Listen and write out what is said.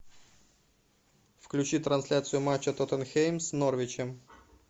включи трансляцию матча тоттенхэм с норвичем